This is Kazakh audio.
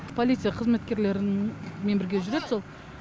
полиция қызметкерлерімен бірге жүреді сол